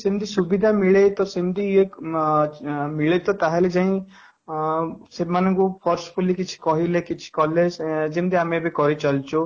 କିନ୍ତୁ ସୁବିଧା ମିଳେ ତ ସେମିତି ମ ମିଳେ ତ ତାହେଲେ ଯାଇଁ ଅଂ ସେମାନଙ୍କୁ forcefully କିଛି କହିଲେ କି କଲେ ଯେମିତି ଆମେ କିଛି କହିଚାଲିଛୁ